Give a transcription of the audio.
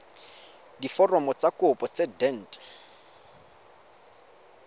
diforomo tsa kopo tse dint